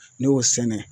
Ne y'o sɛnɛ